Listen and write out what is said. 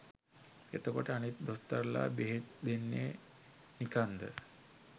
එතකොට අනිත් දොස්තරලා බෙහෙත් දෙන්නේ නිකන්ද?